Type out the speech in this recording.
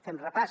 fem repàs